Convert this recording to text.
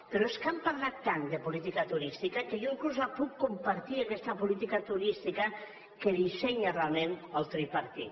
però és que han parlat tant de política turística que jo inclús la puc compartir aquesta política turística que dissenya realment el tripartit